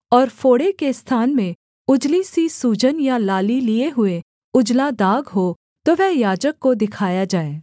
और फोड़े के स्थान में उजली सी सूजन या लाली लिये हुए उजला दाग हो तो वह याजक को दिखाया जाए